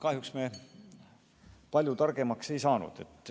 Kahjuks me palju targemaks ei saanud.